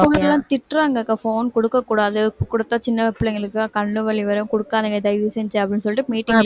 school எல்லாம் திட்டுறாங்கக்கா phone கொடுக்கக் கூடாது கொடுத்தா சின்னப் பிள்ளைங்களுக்கு எல்லாம் கண்ணு வலி வரும் கொடுக்காதீங்க தயவு செஞ்சு அப்படின்னு சொல்லிட்டு meeting லயே